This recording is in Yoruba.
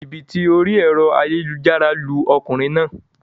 Jìbìtì orí èro ayélujára lu okùnrin naa